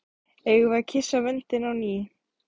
Eigum við að kyssa vöndinn á ný?